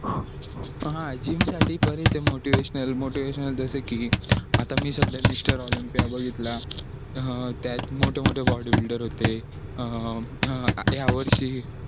हा gym साठी बरी ते motivational motivational जसं की आता मी सध्या mr olympia बघितला हा त्यात मोठे मोठे body builder होते यावर्षी